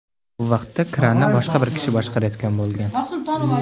Bu vaqtda kranni boshqa bir kishi boshqarayotgan bo‘lgan.